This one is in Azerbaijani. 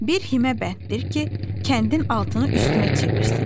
Bir himə bənddir ki, kəndin altını üstünə çevirsin.